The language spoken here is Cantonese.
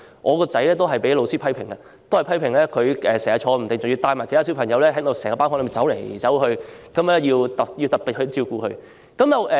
我的兒子也被老師批評坐不住，經常帶領其他小朋友在班房內走來走去，需要老師特別照顧。